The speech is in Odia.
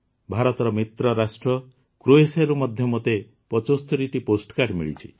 ଭାରତର ମିତ୍ର ରାଷ୍ଟ୍ର କ୍ରୋଏସିଆରୁ ମଧ୍ୟ ମୋତେ ୭୫ଟି ପୋଷ୍ଟକାର୍ଡ଼ ମିଳିଛି